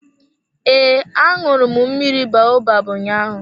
Ee, aṅụru m mmiri baobab ụnyaahụ.